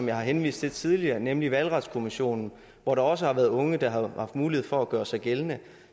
jeg har henvist til tidligere nemlig valgretskommissionen hvor der også har været unge der har haft mulighed for at gøre sig gældende